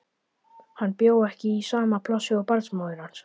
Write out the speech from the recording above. Hann bjó ekki í sama plássi og barnsmóðir hans.